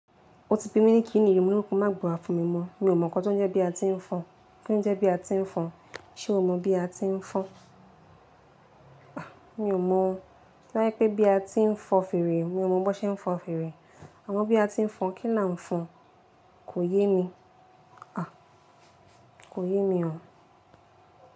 O ti fi mí ní kì íni èrò mú, má gbà fún mi mọ̀. Mi ò mọ̀ nkan tó ń jẹ́ pe a ti ń fa. Kí ló jẹ́ bí a ti ń fọn? Ṣé o mọ bí a ti ń fọn? A! Mi ò mọ̀. Ṣé bá yẹ pé bí a ti ń fọn fèrè, mi ò mọ̀ bó ṣe ń fọn fèrè. Àmọ́ bí a ti ń fọn, kí là ń fọn? Kò yé mi. A! Kò yé mi o.